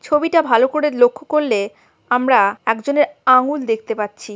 ছবিটা ভালো করে লক্ষ করলে আমরা একজনের আঙ্গুল দেখতে পাচ্ছি।